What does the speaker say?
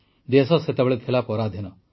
ଦେଶ ସେତେବେଳେ ପରାଧୀନ ଥିଲା